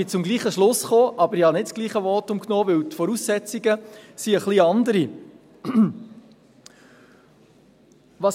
Ich bin zum gleichen Schluss gekommen, halte aber nicht dasselbe Votum, weil die Voraussetzungen ein wenig anders sind.